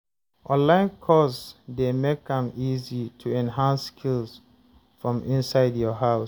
Online course dey make am easy to enhance skills from inside your house.